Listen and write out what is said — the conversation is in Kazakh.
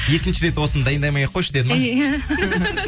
екінші рет осыны дайындамай ақ қойшы деді ма иә